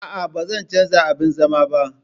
Aa, Bazan canza abin zaman ba